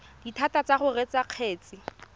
dithata tsa go reetsa kgetse